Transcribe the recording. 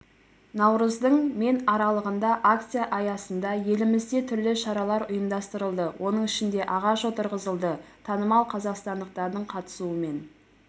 наурыздың мен аралығында акция аясында елімізде түрлі шаралар ұйымдастырылды оның ішінде ағаш отырғызылды танымал қазақстандықтардың қатысуымен